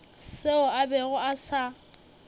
seo a bego a sa